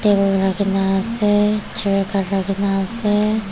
kena ase chair khan rakhe kena ase.